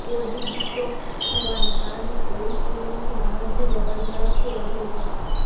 body detox થવાને કારણે oil પુલિંગથી એનર્જી લેવલ ઝડપથી વધે છે